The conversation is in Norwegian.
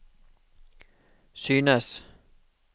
synes